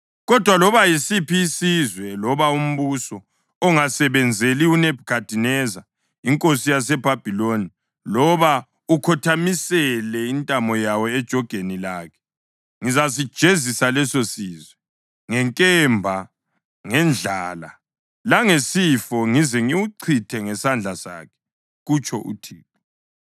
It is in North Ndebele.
Kodwa, loba yisiphi isizwe loba umbuso ongasebenzeli uNebhukhadineza inkosi yaseBhabhiloni loba ukhothamisele intamo yawo ejogeni lakhe, ngizasijezisa lesosizwe ngenkemba, ngendlala langesifo, ngize ngiwuchithe ngesandla sakhe, kutsho uThixo.